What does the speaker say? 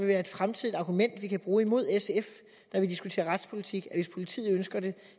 være et fremtidigt argument som vi kan bruge imod sf når vi diskuterer retspolitik hvis politiet ønsker det